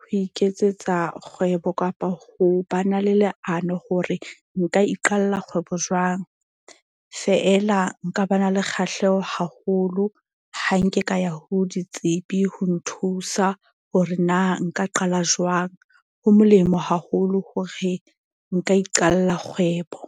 ho iketsetsa kgwebo kapa ho ba na le leano hore nka iqalla kgwebo jwang. Feela nka ba na le kgahleho haholo, ha nke ka ya ho ditsebi ho nthusa hore na nka qala jwang. Ho molemo haholo hore nka iqalla kgwebo.